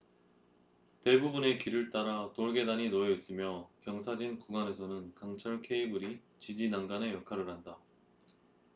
대부분의 길을 따라 돌계단이 놓여 있으며 경사진 구간에서는 강철 케이블이 지지 난간의 역할을 한다